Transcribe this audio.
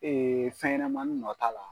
Ee fɛnɲanamanin nɔ t'a la